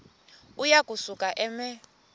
uya kusuka eme